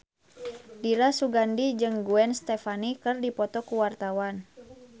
Dira Sugandi jeung Gwen Stefani keur dipoto ku wartawan